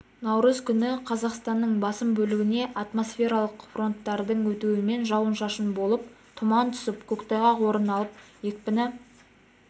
наурыз күні қазақстанның басым бөлігіне атмосфералық фронттардың өтуімен жауын-шашын болып тұман түсіп көктайғақ орын алып екпіні